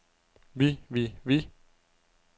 vi vi vi